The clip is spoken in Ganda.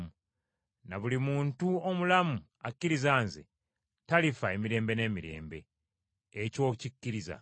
na buli muntu omulamu akkiriza nze talifa emirembe n’emirembe. Ekyo okikkiriza?”